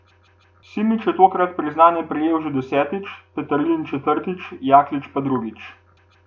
Simič je tokrat priznanje prejel že desetič, Peterlin četrtič, Jaklič pa drugič.